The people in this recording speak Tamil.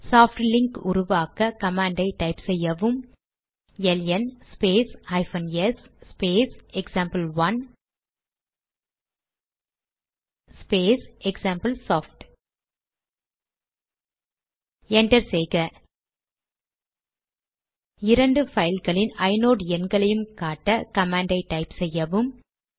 சாப்ட் லிங்க் உருவாக்க கமாண்ட் டைப் செய்யவும் L N space hyphen S space example one space example soft enter செய்க இரண்டு பைல்களின் ஐநோட் எண்களையும் காட்ட கமாண்ட் டைப் செய்யவும்